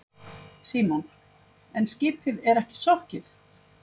Símon: En skipið er ekki sokkið?